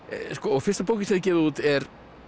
fyrsta bókin sem þið gefið út er